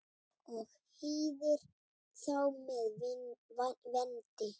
og hýðir þá með vendi.